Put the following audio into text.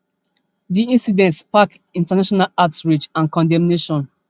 di incident spark international outrage and condemnation